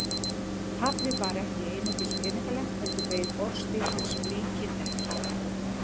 Tapið var ekki einungis peningalegt heldur beið orðstír hans mikinn hnekki.